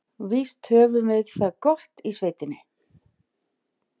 Víst höfðum við það gott í sveitinni.